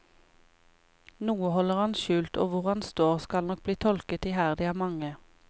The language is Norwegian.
Noe holder han skjult, og hvor han står, skal nok bli tolket iherdig av mange.